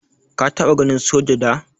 Ka taba ganin soja da?